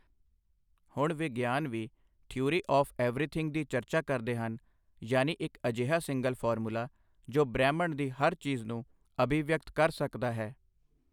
ਹੁਣ ਵਿਗਿਆਨ ਵੀ ਥਿਊਰੀ ਆੱਫ ਐਵਰੀਥਿੰਗ ਦੀ ਚਰਚਾ ਕਰਦੇ ਹਨ, ਯਾਨੀ ਇੱਕ ਅਜਿਹਾ ਸਿੰਗਲ ਫਾਰਮੂਲਾ ਜੋ ਬ੍ਰਹਿਮੰਡ ਦੀ ਹਰ ਚੀਜ਼ ਨੂੰ ਅਭਿਵਿਅਕਤ ਕਰ ਸਕਦਾ ਹੈ।